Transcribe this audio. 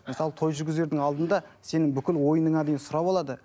мысалы той жүргізердің алдында сенің бүкіл ойыныңа дейін сұрап алады